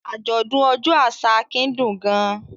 Àjọ̀dún ọjọ́ àṣà Akin dùn gan-an.